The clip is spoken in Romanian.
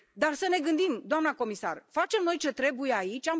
Dar să ne gândim, doamnă comisară, facem noi ce trebuie aici?